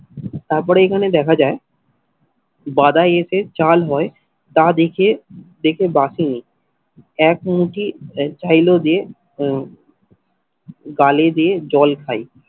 তারপরে এখানে দেখা যায় বাদাই এসে চাল বয় তা দেখে দেখে বাঁশি নিন এক মুঠি চাইলো যে গালে দিয়ে জল খাই।